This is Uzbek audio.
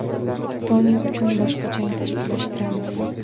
Toni uchun boshqa jang tashkillashtiramiz.